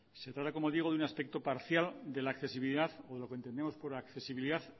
se trata como digo de un aspecto parcial de la accesibilidad o lo que entendemos por accesibilidad